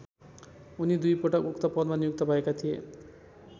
उनी दुई पटक उक्त पदमा नियुक्त भएका थिए।